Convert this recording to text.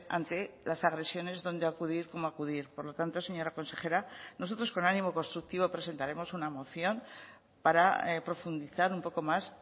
ante las agresiones dónde acudir cómo acudir por lo tanto señora consejera nosotros con ánimo constructivo presentaremos una moción para profundizar un poco más